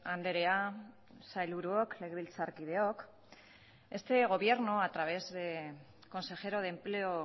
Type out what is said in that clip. andrea sailburuok legebiltzarkideok este gobierno a través del consejero de empleo